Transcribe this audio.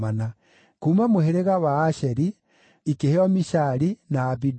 kuuma mũhĩrĩga wa Asheri, ikĩheo Mishali, na Abidoni